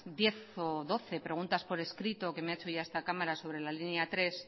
diez o doce preguntas por escrito que me ha hecho ya esta cámara sobre la línea tres